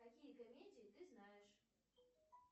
какие комедии ты знаешь